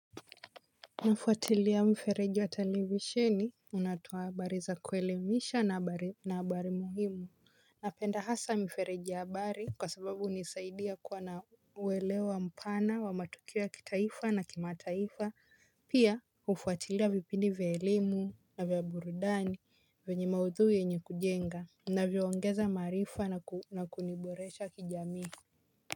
Nafuatilia mfereji wa telivi sheni unatoa habari za kuelemisha na habari muhimu. Napenda hasa mfereji ya habari kwa sababu hunisaidia kuwa na uwelewa mpana wa matukio kitaifa na kimataifa. Pia uhfuatilia vipindi vya elimu na vya burudani venye maudhui yenye kujenga na vyawangeza maarifa na kuniboresha kijamii.